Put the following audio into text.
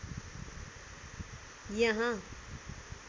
यहाँ